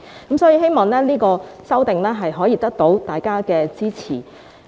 所以，我希望這項修訂得到大家的支持。